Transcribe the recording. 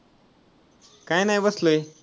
काय नाही बसलोय.